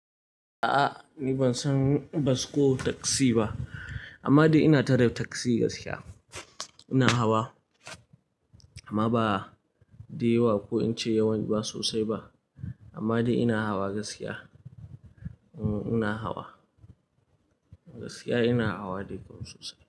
A'a ni ban san bas ko taksi ba, amma dai ina tare taksi gaskiya. Ina hawa amma ba da yawa ko in ce yawan ba sosai ba. Amma dai ina hawa gaskiya. Mm ina hawa, gaskiya ina hawa dai kam sosai.